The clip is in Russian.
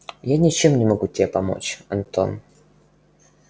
я ничем не могу тебе помочь антон